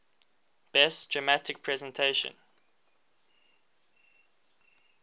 best dramatic presentation